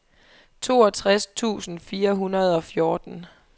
toogtres tusind fire hundrede og fjorten